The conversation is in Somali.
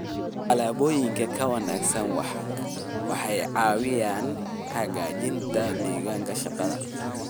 Alaabooyinka ka wanaagsan waxay caawiyaan hagaajinta deegaanka shaqada.